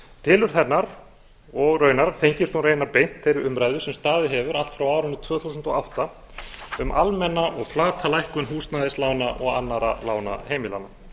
tilurð hennar og raunar tengist hún raunar beint þeirri umræðu sem staðið hefur allt frá árinu tvö þúsund og átta um almenna og flata lækkun húsnæðislána og annarra lána heimilanna